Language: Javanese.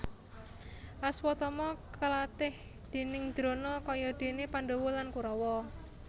Aswatama kalatih déning Drona kaya dene Pandhawa lan Kurawa